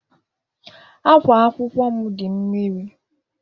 Ákwá akwụkwọ m dị mmiri.